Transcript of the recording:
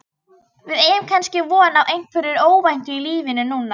Við eigum kannski von á einhverju óvæntu í lífinu núna?